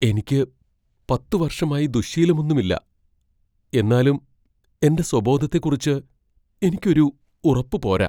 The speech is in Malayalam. എനിക്ക് പത്ത് വർഷമായി ദുശ്ശീലമൊന്നുമില്ല, എന്നാലും എന്റെ സ്വബോധത്തെക്കുറിച്ച് എനിക്ക് ഒരു ഉറപ്പുപോരാ.